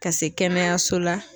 Ka se kɛnɛyaso la